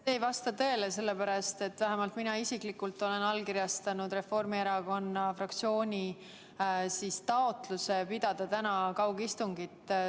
See ei vasta tõele, sellepärast et vähemalt mina isiklikult olen allkirjastanud Reformierakonna fraktsiooni taotluse pidada täna kaugistungit.